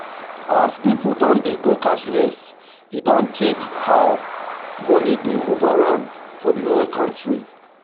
as people don dey go cashless e don change how money dey move around for the whole country.